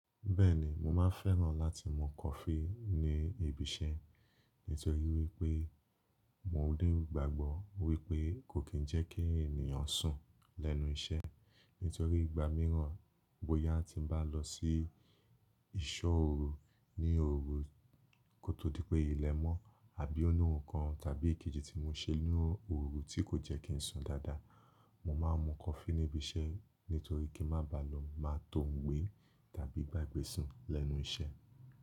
Bẹ́ẹ̀ni, mo máa fẹ́ràn láti mú coffee ní ibi iṣẹ́ nítorí wípé mo dé n gbàgbọ́ wípé kò kín ń jẹ́ kí ènìyàn sùn lẹ́nu iṣẹ́. Nítorí ìgbà míràn bóyá ti ń bá lọ sí ìṣó òru ní òru kó tó dí pé ilẹ̀ mọ́ àbí oni oún kan tàbí ìkejì tí mo ṣe ni òru tí kò jẹ́ kí n sùn dáadáa. Mo máa ń mú coffee níbi iṣẹ́ nítorí kí n máa ba lọ máa tóhun gbé tàbí gbàgbé sùn lẹ́nu iṣẹ́